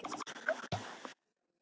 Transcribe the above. Oddbjörn, spilaðu tónlist.